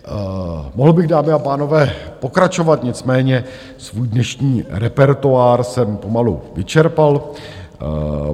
Mohl bych, dámy a pánové, pokračovat, nicméně svůj dnešní repertoár jsem pomalu vyčerpal.